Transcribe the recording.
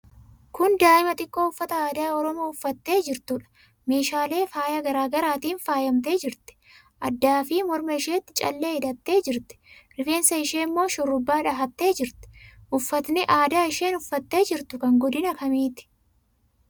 Kun daa'ima xiqqoo uffata aadaa Oromoo uffattee jirtuudha. Meeshaalee faayaa garaa garaatiin faayamtee jirti. Addaafi morma isheetti callee hidhattee jirti. Rifeensa ishee immoo shurrubbaa dhahattee jirti. Uffatni aadaa isheen uffattee jirtu kan godina kamiiti?